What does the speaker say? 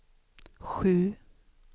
sju